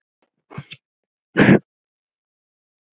LÁRUS: Þakkið guði fyrir.